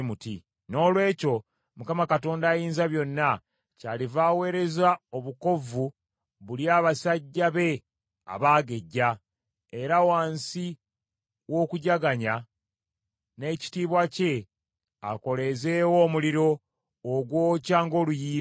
Noolwekyo Mukama, Mukama Katonda Ayinzabyonna, kyaliva aweereza obukovvu bulye abasajja be abaagejja, era wansi w’okujaganya n’ekitiibwa kye akoleeze wo omuliro ogwokya ng’oluyiira.